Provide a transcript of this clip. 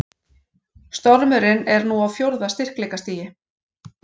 Stormurinn er nú á fjórða styrkleikastigi